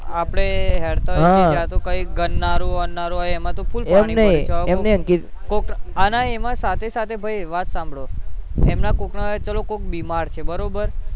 આપણે ગયા તો કંઈક ગરનાળું અરનાળુ હોય એમાં તો full પાણી હોય કોક આનાય એમાં સાથે સાથે ભૈ વાત સાંભળો તેમના કોક ચલો કોક બીમાર છે બરોબર